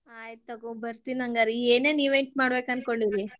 ಆಯಿತ್ ತುಗೋ ಬರ್ತಿನ್ ಹಂಗಾರ, ಏನೇನ್ event ಮಾಡ್ಬೇಕ್ ಅನ್ಕೊಂಡಿರಿ?